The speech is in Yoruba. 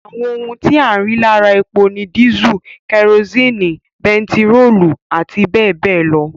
Àwọn ohun tí a rí lára epo ni dísù, kerosini, bentiróòlù àti bẹẹbẹẹ lọ